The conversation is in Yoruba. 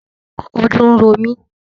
Ojú ń ro mí